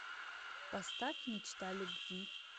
поставь мечта любви